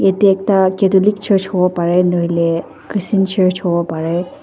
yeh teh ekta catholic church huwo parey nahoi leh christian church huwo parey.